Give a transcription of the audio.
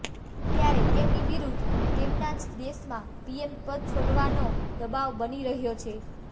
ત્યારે તેમની વિરુદ્ધ તેમના જ દેશમાં પીએમ પદ છોડવાનો દબાવ બની રહ્યો છે